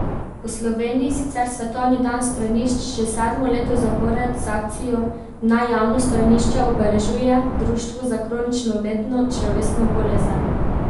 V Sloveniji sicer svetovni dan stranišč že sedmo leto zapored z akcijo Naj javno stranišče obeležuje Društvo za kronično vnetno črevesno bolezen.